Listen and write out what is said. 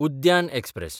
उद्यान एक्सप्रॅस